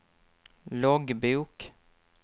loggbok